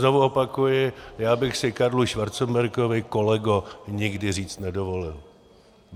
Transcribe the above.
Znovu opakuji, já bych si Karlu Schwarzenbergovi kolego nikdy říct nedovolil.